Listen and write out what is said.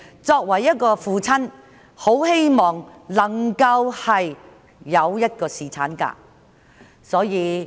作為一位父親，他希望能夠有侍產假。